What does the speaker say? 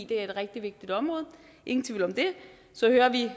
det er et rigtig vigtigt område ingen tvivl om det så hører vi